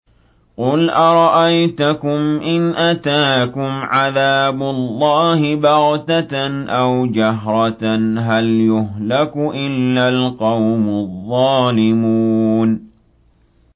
قُلْ أَرَأَيْتَكُمْ إِنْ أَتَاكُمْ عَذَابُ اللَّهِ بَغْتَةً أَوْ جَهْرَةً هَلْ يُهْلَكُ إِلَّا الْقَوْمُ الظَّالِمُونَ